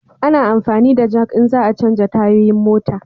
A na amfani da jak in za a chanja tayoyin mota